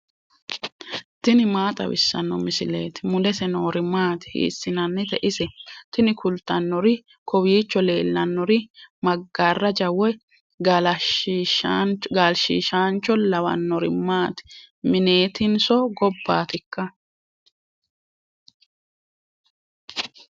tini maa xawissanno misileeti ? mulese noori maati ? hiissinannite ise ? tini kultannori kowiicho leellanori maggaraja woy gaalshshiishancho lawannori maati mineetinso gobbaatikka